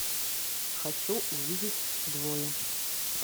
хочу увидеть двое